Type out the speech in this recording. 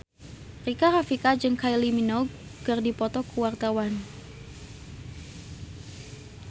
Rika Rafika jeung Kylie Minogue keur dipoto ku wartawan